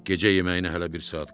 Gecə yeməyinə hələ bir saat qalır.